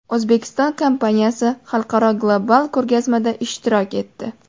O‘zbekiston kompaniyasi xalqaro global ko‘rgazmada ishtirok etdi.